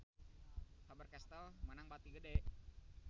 Faber Castel meunang bati gede